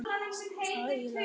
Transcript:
Það yljar enn.